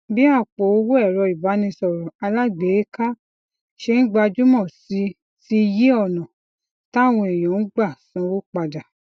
bí àpò owó èrọ ìbánisọrọ alágbèéká ṣe n gbajúmọ si ti yí ònà táwọn èèyàn ń gbà sanwo padà